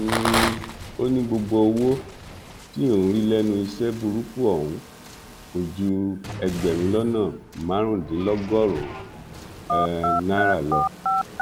um ó ní gbogbo owó tí òun rí lẹnu iṣẹ burúkú ọhún kò ju ẹgbẹrún lọnà márùndínlọgọrùnún um náírà lọ